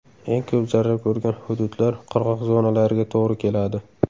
Eng ko‘p zarar ko‘rgan hududlar qirg‘oq zonalariga to‘g‘ri keladi.